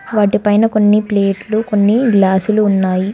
వాటి పైన కొన్ని ప్లేట్లు కొన్ని గ్లాసులు ఉన్నాయి.